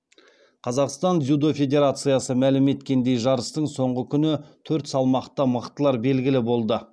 қазақстан дзюдо федерациясы мәлім еткендей жарыстың соңғы күні төрт салмақта мықтылар белгілі болды